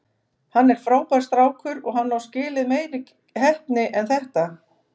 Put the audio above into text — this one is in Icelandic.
Hann er frábær strákur og hann á skilið meiri heppni en þetta.